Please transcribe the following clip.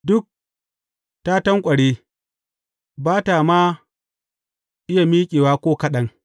Duk ta tanƙware, ba ta ma iya miƙewa ko kaɗan.